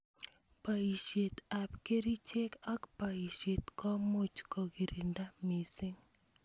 Boishet ab kerichek ak boishet komuch kokirinda missing.